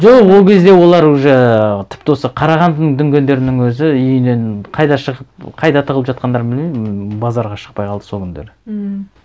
жоқ ол кезде олар уже і тіпті осы қарағандының дүнгендерінің өзі үйінен қайда шығып қайда тығылып жатқандарын білмеймін базарға шықпай қалды сол күндері ммм